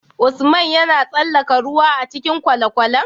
Usman yAna tsalaka ruwa a cikin kwale kwalen?